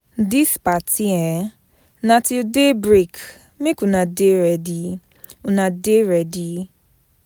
Dis party um na till day break, make una Dey ready una dey ready.